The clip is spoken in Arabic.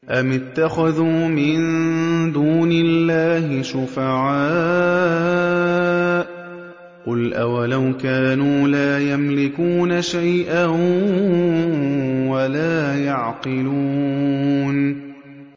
أَمِ اتَّخَذُوا مِن دُونِ اللَّهِ شُفَعَاءَ ۚ قُلْ أَوَلَوْ كَانُوا لَا يَمْلِكُونَ شَيْئًا وَلَا يَعْقِلُونَ